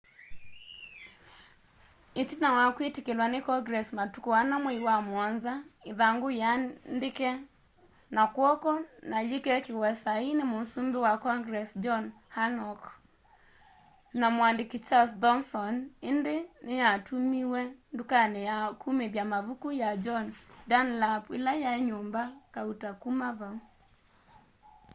itina wa kwitikilwa ni congress matuku 4 mwai wamuonza ithangu yiandike na kw'oko na yikekiwa saii ni musumbi wa congress john hancock na muandiki charles thomson indi niyatumiwe ndukani ya kumithya mavuku ya john dunlap ila yai nyumba kauta kuma vau